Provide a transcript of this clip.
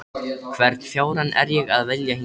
Hvern fjárann er ég að vilja hingað?